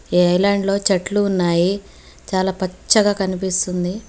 ఈ ఐలాండ్లో చెట్లు ఉన్నాయి. చాలా పచ్చగా కనిపిస్తుంది.